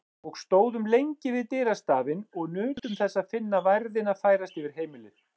Og stóðum lengi við dyrastafinn og nutum þess að finna værðina færast yfir heimilið.